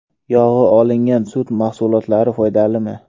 Yog‘i olingan sut mahsulotlari foydalimi?.